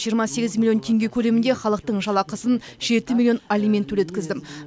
жиырма мегіз миллион теңге көлемінде халықтың жалақысын жеті миллион алимент төлеткіздім